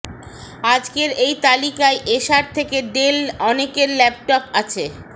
আজকের এই তালিকায় এসার থেকে ডেল অনেকের ল্যাপটপ আছে